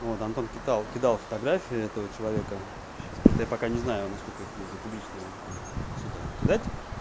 вот антон кидал кидал фотографии этого человека сейчас просто я пока не знаю насколько их можно публично сюда кидать